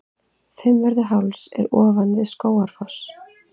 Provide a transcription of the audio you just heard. Fimmvörðuháls er ofan við Skógafoss.